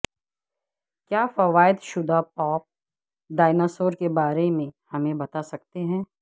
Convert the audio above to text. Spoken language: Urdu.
کیا فوائد شدہ پاپ ڈایناسور کے بارے میں ہمیں بتا سکتے ہیں